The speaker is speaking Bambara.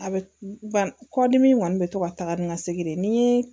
A bɛ ba kɔdimi in kɔni bɛ to ka taga ni n ka segin de ni n ye